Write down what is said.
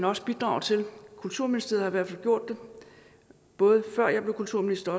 også bidrage til kulturministeriet har i hvert fald gjort det både før jeg blev kulturminister